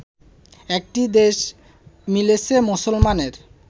একটি দেশ মিলেছে মুসলমানের